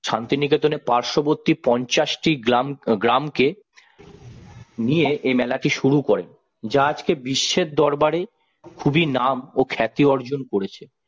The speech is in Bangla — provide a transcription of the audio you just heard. শান্তিনিকেতনের পার্শ্ববর্তী পঞ্চাশ টি গ্রাম গ্রামকে নিয়ে এই মেলাটি শুরু করেন যা আজকে বিশ্বের দরবারে খুবই নাম ও খ্যাতি অর্জন করেছে।